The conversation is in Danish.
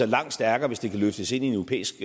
langt stærkere hvis det kan løftes ind i en europæisk